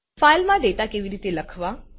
ફાઈલમાં ડેટા કેવી રીતે લખવા